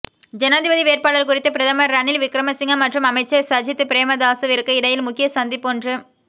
ஜனாதிபதி வேட்பாளர் குறித்து பிரதமர் ரணில் விக்ரமசிங்க மற்றும் அமைச்சர் சஜித் பிரேமதாசவிற்கு இடையில் முக்கிய சந்திப்பொன்று